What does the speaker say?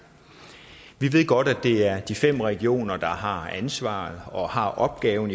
vi ved godt at det er de fem regioner der har ansvaret og har opgaven